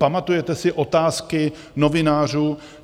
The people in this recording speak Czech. Pamatujete si otázky novinářů?